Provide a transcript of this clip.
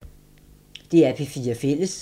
DR P4 Fælles